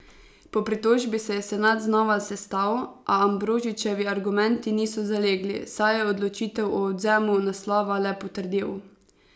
Po pritožbi se je senat znova sestal, a Ambrožičevi argumenti niso zalegli, saj je odločitev o odvzemu naslova le potrdil.